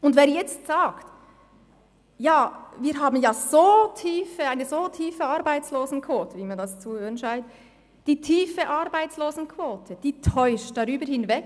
Wer jetzt sagt, wir hätten ja eine so tiefe Arbeitslosenquote – wie man das zu hören scheint –, den täuscht die tiefe Arbeitslosenquote darüber hinweg,